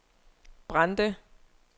Brande